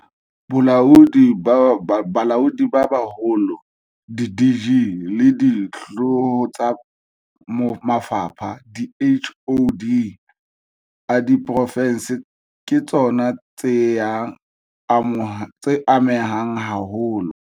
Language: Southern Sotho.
Balaodi ba Baholo, di-DG, le dihlooho tsa mafapha di-HoD, a diprofense ke tsona tseya amehang haholo.